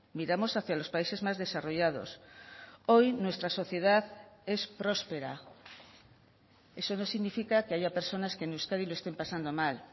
miramos hacia los países más desarrollados hoy nuestra sociedad es próspera eso no significa que haya personas que en euskadi lo estén pasando mal